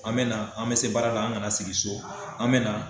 An bɛ na, an bɛ se baara la an kana sigi so, an bɛ na.